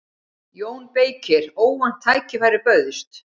JÓN BEYKIR: Óvænt tækifæri bauðst.